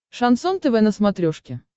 шансон тв на смотрешке